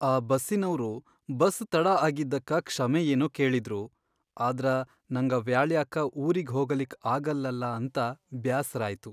ಆ ಬಸ್ಸಿನವ್ರು ಬಸ್ ತಡಾ ಆಗಿದ್ದಕ್ಕ ಕ್ಷಮೆ ಏನೋ ಕೇಳಿದ್ರು, ಆದ್ರ ನಂಗ ವ್ಯಾಳ್ಯಾಕ್ಕ ಊರಿಗ್ ಹೋಗಲಿಕ್ ಆಗಲ್ಲಲ ಅಂತ ಬ್ಯಾಸರಾಯ್ತು.